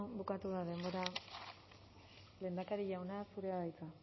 bukatu da denbora lehendakari jauna zurea da hitza